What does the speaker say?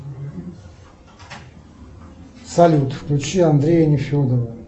салют включи андрея нефедова